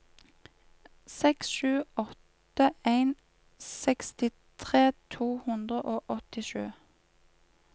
seks sju åtte en sekstitre to hundre og åttisju